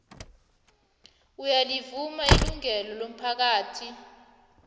uyalivuma ilungelo lomphakathi